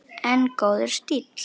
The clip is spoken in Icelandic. En góður stíll!